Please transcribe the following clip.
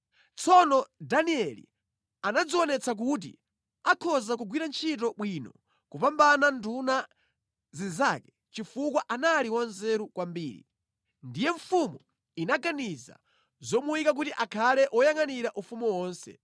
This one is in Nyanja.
Tsono Danieli anadzionetsa kuti akhoza kugwira ntchito bwino kopambana nduna zinzake chifukwa anali wanzeru kwambiri. Ndiye mfumu inaganiza zomuyika kuti akhale woyangʼanira ufumu wonse.